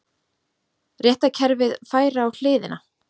Réttarkerfið færi á hliðina